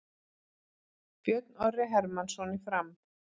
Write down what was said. Björn Orri Hermannsson í Fram